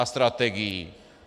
A strategií.